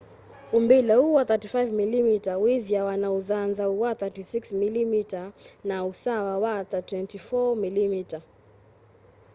umbile uu wa 35mm withiawa na ũthanthaũ wa 36mm na ũasa wa 24mm